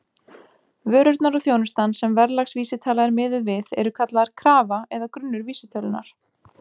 Vörurnar og þjónustan sem verðlagsvísitala er miðuð við eru kallaðar karfa eða grunnur vísitölunnar.